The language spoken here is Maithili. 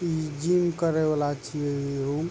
इ जीम करे वाला छिये इ रूम --